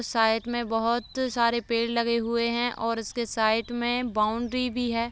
Side में बहुत सारे पेड़ लगे हुए हैं और उसके साइड में बाउंड्री भी है।